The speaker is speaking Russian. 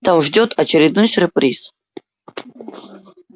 там ждёт очередной сюрприз